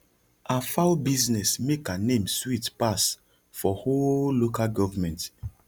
her fowl business make her name sweet pass for whole local government